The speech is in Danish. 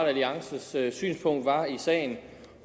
alliances synspunkt var i sagen